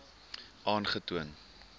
aangetoon